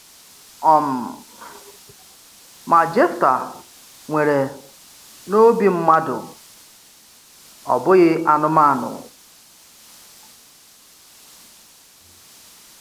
um Má Jéftà nwèrè n’òbì mmádụ̀, ọ̀ bụghị̀ anụ́mánụ̀.